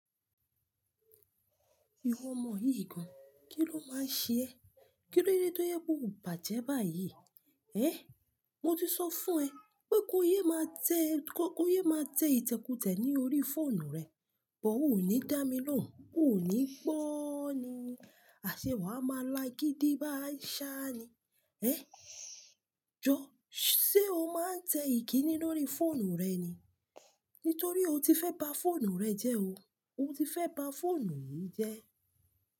Ìwọ ọmọ yìí gan, kíló máa ṣe ẹ́? Kílódé tó je pe o bàjẹ́ báyìí? Ẹ́, mo ti sọ fún ẹ pé ko yé máa tẹ, kó ko yé máa tẹ ìtẹ́kutẹ́ ní orí fóònù rẹ. Bọ ò ní dá mi lóhùn, ò ní gbó ni, àṣé wà á máa la gidi bái ṣá ni. Eh, jo, se o maa n te ikini ni ori foonu re ni? Nítorí o ti fẹ́ ba fóònù rẹ jẹ́ o. O ti fẹ́ ba fóònù yìí jẹ́.